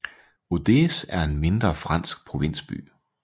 Rodez er en mindre fransk provinsby